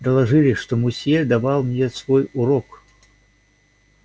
доложили что мусье давал мне свой урок